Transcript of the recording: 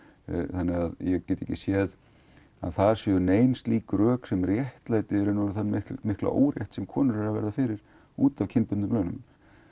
þannig ég get ekki séð að þar séu nein slík rök sem réttlæti þann mikla órétt sem konur eru að verða fyrir út af kynbundnum launum